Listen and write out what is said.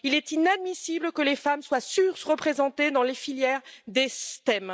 Il est inadmissible que les femmes soient sous représentées dans les filières des STEM.